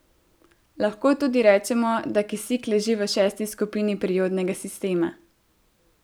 Lahko tudi rečemo, da kisik leži v šesti skupini periodnega sistema.